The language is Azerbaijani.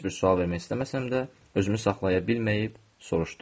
Heç bir sual vermək istəməsəm də, özümü saxlaya bilməyib soruşdum.